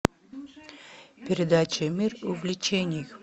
передача мир увлечений